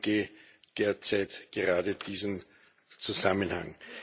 Ausschuss derzeit gerade diesen Zusammenhang.